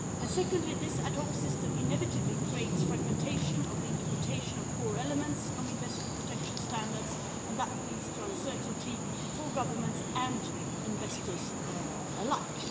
Secondly, this ad hoc system inevitably creates fragmentation of the interpretation of core elements of investment protection standards, and that leads to uncertainty for governments and investors alike.